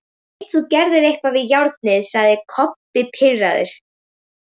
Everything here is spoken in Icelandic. Ég veit þú gerðir eitthvað við járnið, sagði Kobbi pirraður.